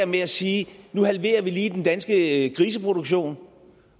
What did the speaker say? med at sige at nu halverer vi lige den danske griseproduktion